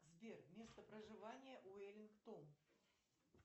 сбер место проживания уэллингтон